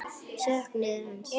Söknuðu hans.